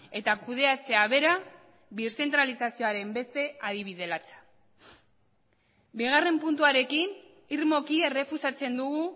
eta kudeatzea bera birzentralizazioaren beste adibide latza bigarren puntuarekin irmoki errefusatzen dugu